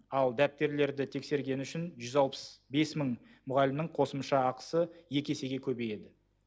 ал дәптерлерді тексергені үшін жүз алпыс бес мың мұғалімнің қосымша ақысы екі есеге көбейеді